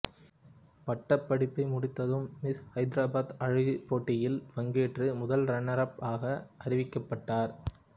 பட்டப்படிப்பை முடித்ததும் மிஸ் ஹைதராபாத் அழகு போட்டியில் பங்கேற்று முதல் ரன்னர்அப் ஆக அறிவிக்கப்பட்டார்